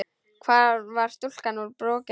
Hvar var stúlkan úr Brokey?